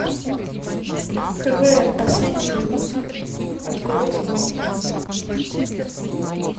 квн последний выпуск открой смотреть